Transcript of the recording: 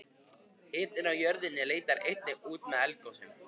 hitinn í jörðinni leitar einnig út með eldgosum